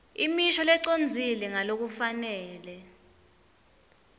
imisho lecondzile ngalokufanele